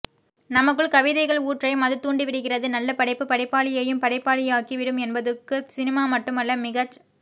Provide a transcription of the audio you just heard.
நமக்குள் கவிதைகள் ஊற்றையும் அது தூண்டிவிடுகிறது நல்ல படைப்பு படிப்பாளியையும் படைப்பாளியாக்கி விடும் என்பதுக்கு சினிமா மட்டுமல்ல மிகச்